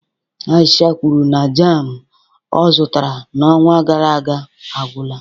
Aisha kwuru na jam ọ zụtara n'ọnwa gara aga agwụla